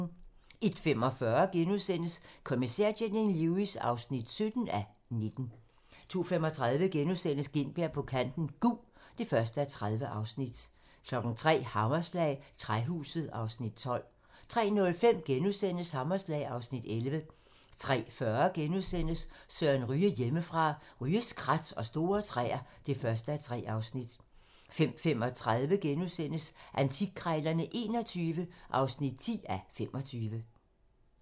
01:45: Kommissær Janine Lewis (17:19)* 02:35: Gintberg på kanten - Gug (1:30)* 03:00: Hammerslag - Træhuset (Afs. 12) 03:05: Hammerslag (Afs. 11)* 03:40: Søren Ryge: Hjemmefra - Ryges krat og store træer (1:3)* 05:35: Antikkrejlerne XXI (10:25)*